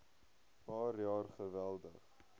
paar jaar geweldig